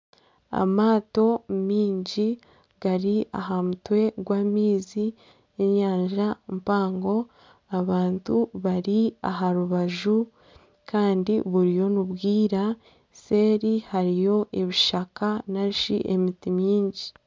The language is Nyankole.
Amaato mingi gari aha mutwe gw'amaizi n'enyanja mpango abantu bari aha rubaju kandi buriyo nibwira kandi seeri hariyo ebishaka narishi emiti mingi.